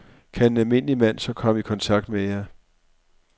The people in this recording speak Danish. Kan en almindelig mand så komme i kontakt med jer?